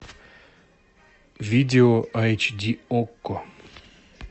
видео эйч ди окко